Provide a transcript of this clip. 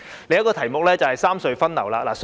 另一個題目是三隧分流。